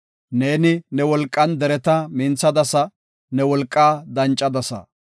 Neeni ne wolqan dereta minthadasa; ne wolqaa dancadasa.